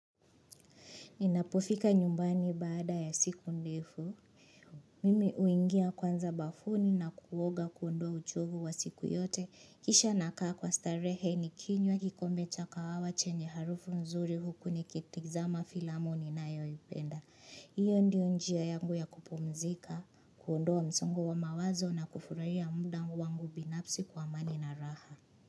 Ninapofika nyumbani baada ya siku ndefu. Mimi huingia kwanza bafuni na kuoga kuondoa uchovu wa siku yote. Kisha nakaa kwa starehe nikinywa kikombe cha kawawa chenye harufu mzuri huku nikitizama filamu ninayoipenda. Iyo ndio njia yangu ya kupumzika, kuondoa msongo wa mawazo na kufurahia muda wangu binafsi kwa amani na raha.